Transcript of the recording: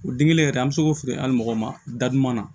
O den kelen yɛrɛ an bɛ se k'o fili an ni mɔgɔ ma datuma na